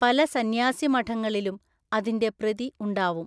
പല സന്യാസിമഠളിലും അതിന്‍റെ പ്രതി ഉണ്ടാവും.